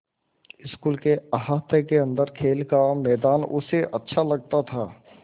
school के अहाते के अन्दर खेल का मैदान उसे अच्छा लगता था